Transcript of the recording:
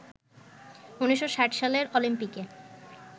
১৯৬০ সালের অলিম্পিকে